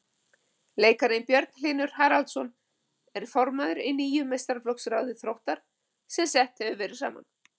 Leikarinn Björn Hlynur Haraldsson er formaður í nýju meistaraflokksráði Þróttar sem sett hefur verið saman.